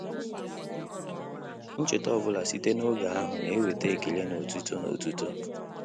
Ncheta ọ bụla site n'oge ahụ na-eweta ekele na otuto na otuto